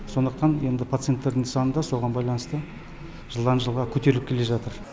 сондықтан енді пациенттердің саны да соған байланысты жылдан жылға көтеріліп келе жатыр